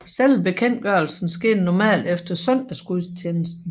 Selve bekendtgørelsen skete normalt efter søndagsgudstjenesten